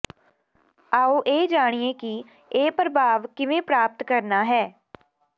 ਆਓ ਇਹ ਜਾਣੀਏ ਕਿ ਇਹ ਪ੍ਰਭਾਵ ਕਿਵੇਂ ਪ੍ਰਾਪਤ ਕਰਨਾ ਹੈ